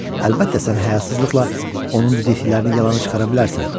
Əlbəttə, sən həyasızlıqla onun dediklərini yalana çıxara bilərsən.